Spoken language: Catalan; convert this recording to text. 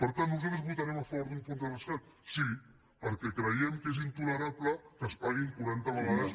per tant nosaltres votarem a favor d’un fons de rescat sí perquè creiem que és intolerable que es paguin quaranta vegades